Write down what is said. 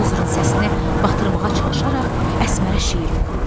Buldozerin səsini batırmağa çalışaraq Əsmərə şeir oxuyurdum.